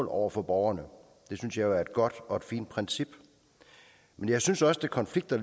over for borgerne det synes jeg er et godt og fint princip men jeg synes også det konflikter